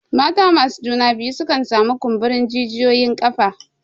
Mata masu juna biyu sukan sami kumburin jijiyoyin ƙafa.